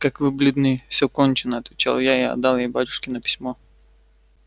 как вы бледны все кончено отвечал я и отдал ей батюшкино письмо